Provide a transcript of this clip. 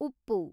ಉಪ್ಪು